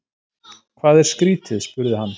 Hvað er skrýtið? spurði hann.